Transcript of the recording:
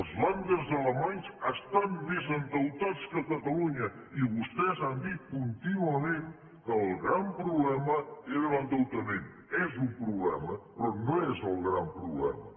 els ländercatalunya i vostès han dit contínuament que el gran problema era l’endeutament és un problema però no és el gran problema